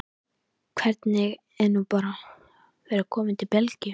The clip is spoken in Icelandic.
Hvernig er nú að vera kominn til Belgíu?